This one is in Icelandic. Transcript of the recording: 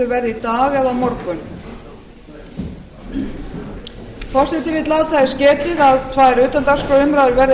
verða í dag eða á morgun forseti vill láta þess getið að tvær utandagskrárumræður verða